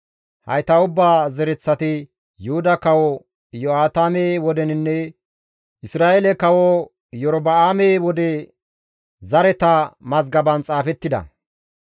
Hayta ubbata zereththati Yuhuda Kawo Iyo7aatame wodeninne Isra7eele Kawo Iyorba7aame wode zareta mazgaban xaafettida.